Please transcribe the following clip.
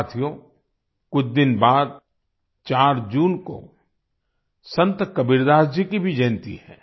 साथियो कुछ दिन बाद 4 जून को संत कबीरदास जी की भी जयंती है